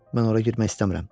Mən ora girmək istəmirəm.